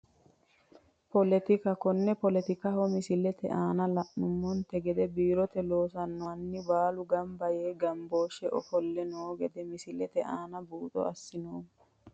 Politika konne politikaho misilete aana la`noomonte gede biirote loosano mani baalu ganba yee ganbooshe ofole noo gedde misilete aana buuxo asinoomo.